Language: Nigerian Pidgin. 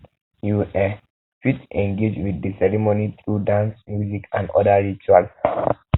you um fit engage with the ceremony through dance music and oda rituals um